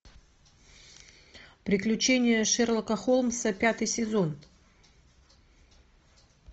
приключения шерлока холмса пятый сезон